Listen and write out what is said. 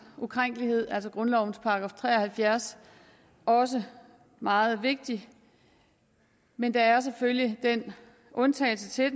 ukrænkelighed altså grundlovens § tre og halvfjerds også meget vigtig men der er selvfølgelig den undtagelse